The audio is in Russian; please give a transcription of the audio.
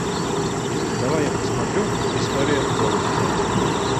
давай я посмотрю история золушки